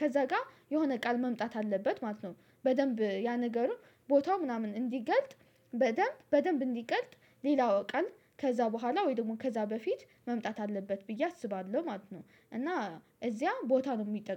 ከዛ ጋር የሆነ ቃል መምጣት አለበት ማለት ነው። በደንብ ያ ነገሩ ቦታው ምናምን እንዲገልጥ በደንብ በደንብ እንዲገልጥ ሌላው ቀል ከዛ በኋላ ወይ ደግሞ ከዛ በፊት መምጣት አለበት ብዬ አስባለሁ ማለት ነው። እና እዚያ ቦታ ነው የሚጠቀመው